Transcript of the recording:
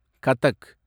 Kathak